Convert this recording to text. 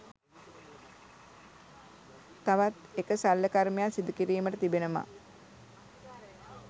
තවත් එක ශල්‍යකර්මයක් සිදුකිරීමට තිබෙනවා.